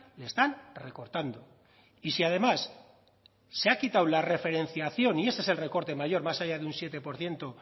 le están recortando y si además se ha quitado la referenciación y ese es el recorte mayor más allá de un siete por ciento